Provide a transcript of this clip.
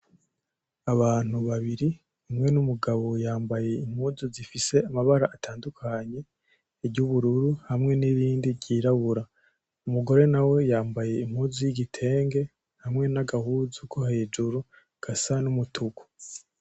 Abantu babiri umwe n'umugabo yambaye impuzu zifise amabara atandukanye; iryubururu, hamwe nirindi ryirabura umugore nawe yambaye impuzu yigitenge nagahuzu ko hejuru gasa n'umutuku.